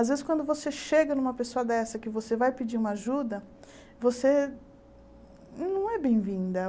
Às vezes, quando você chega numa pessoa dessa que você vai pedir uma ajuda, você não é bem-vinda.